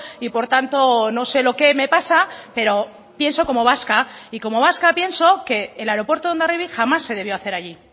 y por tanto no sé lo que me pasa pero pienso como vasca y como vasca pienso que el aeropuerto de hondarribia jamás se debió hacer allí